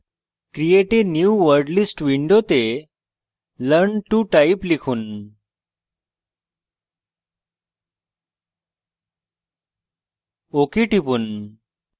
create a new wordlist window learn to type লিখুন ok টিপুন